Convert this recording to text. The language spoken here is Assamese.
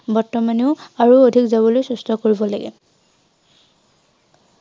বৰ্তমানেও আৰু অধিক যাবলৈ চেষ্টা কৰিব লাগে।